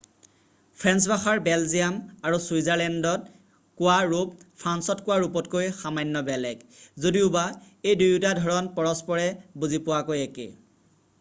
French ভাষাৰ Belgium আৰু চুইৎজাৰলেণ্ডত কোৱা ৰূপ ফ্ৰান্সত কোৱা ৰূপতকৈ সামান্য বেলেগ যদিওবা এই দুয়োটা ধৰণ পৰস্পৰে বুজি পোৱাকৈ একে